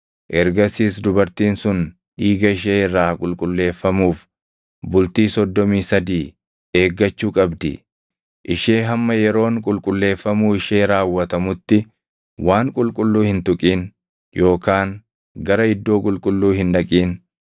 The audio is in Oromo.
Ergasiis dubartiin sun dhiiga ishee irraa qulqulleeffamuuf bultii soddomii sadii eeggachuu qabdi. Ishee hamma yeroon qulqulleeffamuu ishee raawwatamutti waan qulqulluu hin tuqin yookaan gara iddoo qulqulluu hin dhaqin.